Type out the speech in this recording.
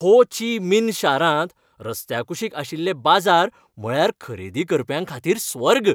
हो Chi Minh शारांत रस्त्याकुशीक आशिल्ले बाजार म्हळ्यार खरेदी करप्यांखातीर स्वर्ग..